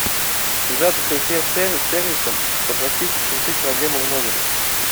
связаться с консьерж сервисом попросить решить проблему в номере